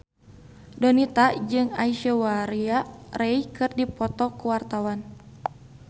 Donita jeung Aishwarya Rai keur dipoto ku wartawan